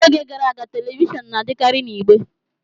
N'oge gara aga, telivishọn na-adịkarị na igbe